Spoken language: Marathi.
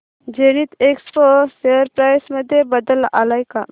झेनिथएक्सपो शेअर प्राइस मध्ये बदल आलाय का